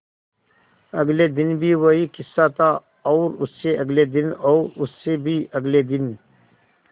अगले दिन भी वही किस्सा था और उससे अगले दिन और उससे भी अगले दिन